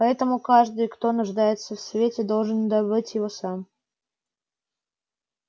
поэтому каждый кто нуждается в свете должен добыть его сам